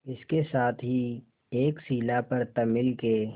इसके साथ ही एक शिला पर तमिल के